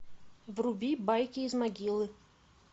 вруби байки из могилы